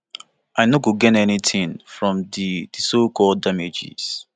i no go gain anytin from di di socalled damages